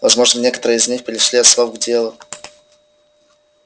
возможно некоторые из них перешли от слов к делу